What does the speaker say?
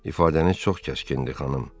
İfadəiniz çox kəskindir, xanım.